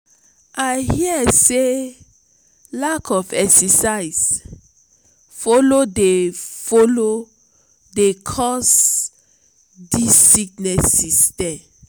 i hear sey lack of exercise folo dey folo dey cause dese sickness dem.